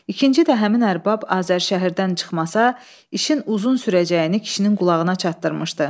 İkinci də həmin ərbab Azərşəhərdən çıxmasa, işin uzun sürəcəyini kişinin qulağına çatdırmışdı.